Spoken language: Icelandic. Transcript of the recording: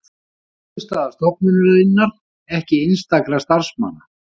Niðurstaða stofnunarinnar ekki einstakra starfsmanna